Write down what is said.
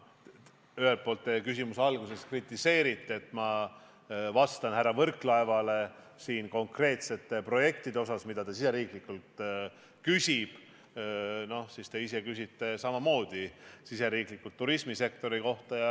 Ühelt poolt te oma küsimuse alguses kritiseerite, et ma vastan härra Võrklaevale konkreetsete riigisiseste projektide näitel, mille kohta ta küsib, aga siis küsite ise samamoodi riigisisese turismisektori kohta.